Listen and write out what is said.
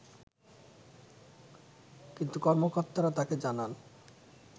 কিন্তু কর্মকর্তারা তাকে জানান